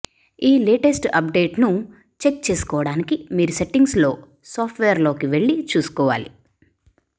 ఈ లేటెస్ట్ అప్ డేట్ను చెక్ చేసుకోవడానికి మీరు సెట్టింగ్స్లో సాఫ్ట్ వేర్లోకి వెళ్లి చూసుకోవాలి